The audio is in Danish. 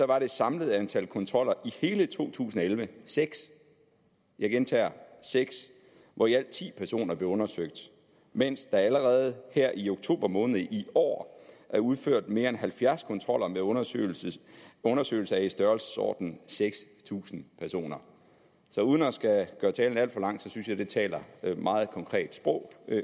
var det samlede antal kontroller i hele to tusind og elleve seks jeg gentager seks hvor i alt ti personer blev undersøgt mens der allerede i oktober måned i år er udført mere end halvfjerds kontroller med undersøgelse undersøgelse af i størrelsesordenen seks tusind personer så uden at skulle gøre talen alt for lang synes jeg at det taler et meget konkret sprog